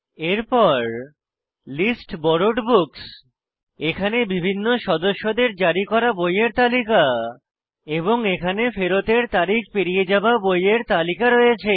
এরপর list borrowed books এখানে বিভিন্ন সদস্যদের জারি করা বইয়ের তালিকা রয়েছে এবং এখানে ফেরতের তারিখ পেরিয়ে যাওয়া বইয়ের তালিকা রয়েছে